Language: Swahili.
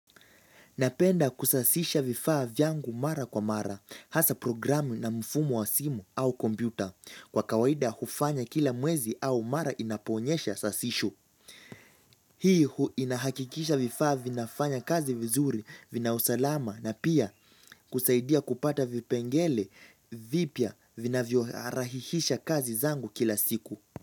Napenda kusasisha vifaa vyangu mara kwa mara, hasa programu na mifumo wa simu au kompyuta, kwa kawaida hufanya kila mwezi au mara inapoonyesha sasisho. Hii huwa inahakikisha vifaa vinafanya kazi vizuri vinausalama na pia kusaidia kupata vipengele vipya vinavyorahisisha kazi zangu kila siku.